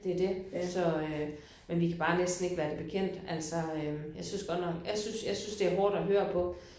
Ja det det så øh. Men vi bare næsten ikke være det bekendt altså jeg synes godt nok jeg synes jeg synes det er hårdt at høre på